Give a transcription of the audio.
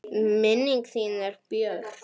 Minning þín er björt.